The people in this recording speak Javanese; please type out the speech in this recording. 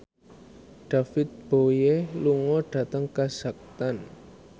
David Bowie lunga dhateng kazakhstan